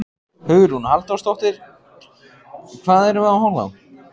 Hugrún Halldórsdóttir: Hvað erum við að horfa á?